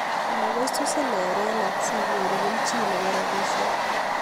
Makoisusin erenet sinyoruu kelchin neboo rapisiek